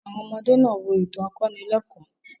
Àwọn ọmọdé náà wo ètò akọnílẹ́ẹ̀kọ́.